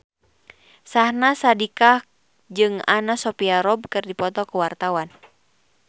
Syahnaz Sadiqah jeung Anna Sophia Robb keur dipoto ku wartawan